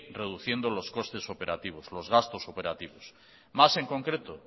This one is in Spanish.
reduciendo los costes operativos más en concreto